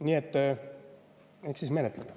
Nii et eks me siis menetleme.